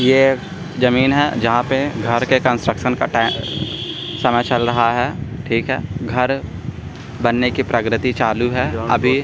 ये जमीन है जहां पर घर के का समय चल रहा है ठीक है घर बनने की प्रकृति चालू है अभी।